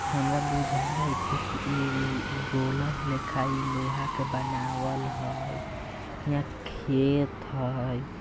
हमारा बुझाइत हेय कि इ रोलर लेखा इ लोहा का बनावल हेय हीया खेत हेय।